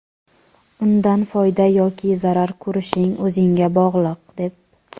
undan foyda yoki zarar ko‘rishing o‘zingga bog‘liq deb.